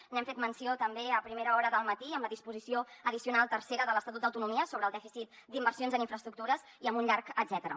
n’hem fet menció també a primera hora del matí amb la disposició addicional tercera de l’estatut d’autonomia sobre el dèficit d’inversions en infraestructures i amb un llarg etcètera